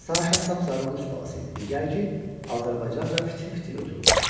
Saşa sapsarı rus balası idi, digər ki, azərbaycanca fitil-fitil ötürdü.